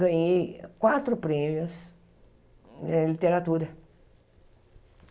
ganhei quatro prêmios em literatura.